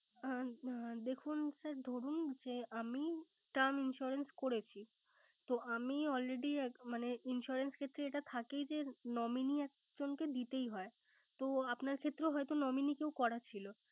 হ্যা দেখুন sir ধরুন যে আমি Term insurance করেছি। তো আমি already মানে insurance ক্ষেত্রে এটা থাকেই যে nominee একজনকে দিতেই হয়। তো আপনার ক্ষেত্রে ও হয়তো nominee কেউ করা ছিল